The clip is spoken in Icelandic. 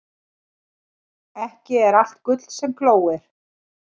Ekki er allt gull sem glóir.